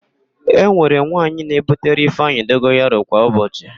E nwere nwaanyị na-ebutere ịfeanyị dogoyaro kwa ụbọchị.